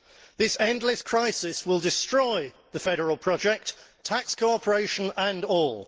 This endless crisis will destroy the federal project tax cooperation and all.